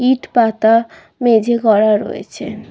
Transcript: ইট পাতা মেঝে করা রয়েছে।